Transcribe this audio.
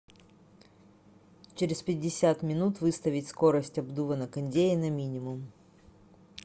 через пятьдесят минут выставить скорость обдува на кондее на минимум